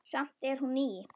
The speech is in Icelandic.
Samt er hún ný.